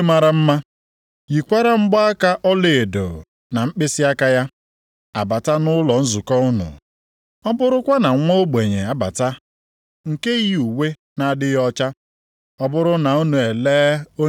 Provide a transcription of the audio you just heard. Ọ bụrụ na onye ọgaranya yi uwe mara mma, yikwara mgbaaka ọlaedo na mkpịsịaka ya, abata nʼụlọ nzukọ unu, ọ bụrụkwa na nwa ogbenye abata nke yi uwe na-adịghị ọcha,